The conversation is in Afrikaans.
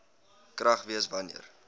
krag wees wanneer